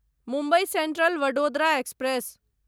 Mumbai central Vadodara express